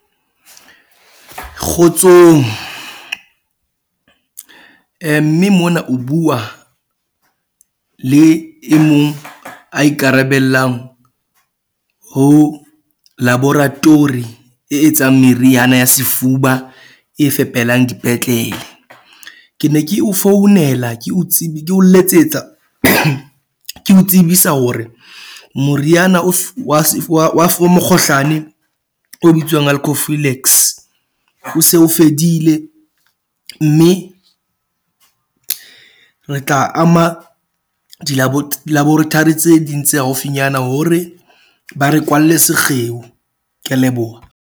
Kgotsong mme mona o bua le e mong a ikarabellang ho laboratory e etsang meriana ya sefuba e fepelang dipetlele. Ke ne ke o founela ke o ko letsetsa ke o tsebisa hore moriana o wa wa mokgohlane o bitswang Alcophyllex o se o fedile. Mme re tla ama di di-laboratory tse ding tse haufinyana hore ba re kwalle sekgeo. Ke a leboha.